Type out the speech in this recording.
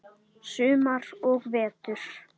Sumar og vetur.